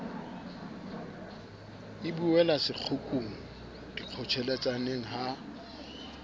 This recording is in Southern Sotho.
e buela sekgukgung dikgotjheletsaneng ha